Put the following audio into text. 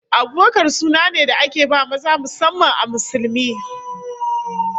Abubakar suna ne da ake ba maza musamman a Musulmi